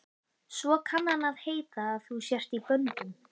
Svo kann að heita að þú sért í böndum.